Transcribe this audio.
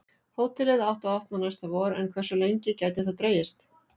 Hótelið átti að opna næsta vor en hversu lengi gæti það dregist?